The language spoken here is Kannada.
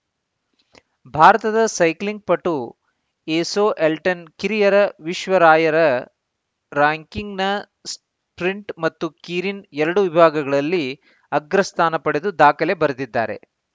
ಭಾರತದ ಸೈಕ್ಲಿಂಗ್‌ ಪಟು ಎಸೋ ಅಲ್ಟೆನ್ ಕಿರಿಯರ ವಿಶ್ವ ರಾಯರ ರ್ಯಾಂಕಿಂಗ್ ನ ಸ್ಟ್ರಿಂಟ್‌ ಹಾಗೂ ಕೀರಿನ್‌ ಎರಡೂ ವಿಭಾಗಗಳಲ್ಲಿ ಅಗ್ರಸ್ಥಾನ ಪಡೆದು ದಾಖಲೆ ಬರೆದಿದ್ದಾರೆ